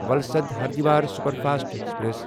Valsad Haridwar superfast express